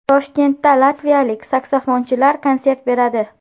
Toshkentda latviyalik saksofonchilar konsert beradi.